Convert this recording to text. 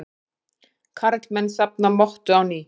Karlmenn safna mottu á ný